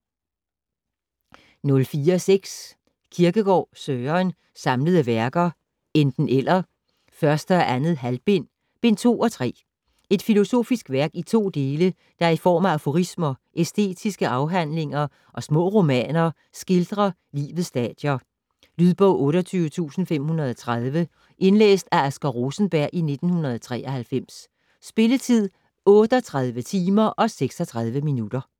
04.6 Kierkegaard, Søren: Samlede Værker: Enten - eller, 1. og 2. halvbind: Bind 2 og 3 Et filosofisk værk i 2 dele, der i form af aforismer, æstetiske afhandlinger og små romaner skildrer livets stadier. Lydbog 28530 Indlæst af Asger Rosenberg, 1993. Spilletid: 38 timer, 36 minutter.